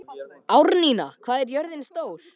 Árnína, hvað er jörðin stór?